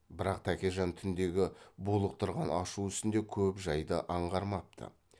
бірақ тәкежан түндегі булықтырған ашу үстінде көп жайды аңғармапты